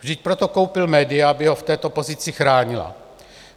Vždyť proto koupil média, aby ho v této pozici chránila.